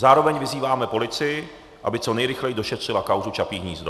Zároveň vyzýváme policii, aby co nejrychleji došetřila kauzu Čapí hnízdo.